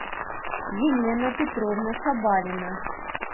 елена петровна шабалина